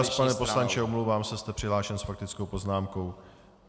Váš čas, pane poslanče, omlouvám se, jste přihlášen s faktickou poznámkou.